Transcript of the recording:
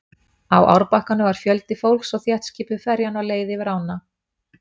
Á árbakkanum var fjöldi fólks og þéttskipuð ferjan var á leið yfir ána.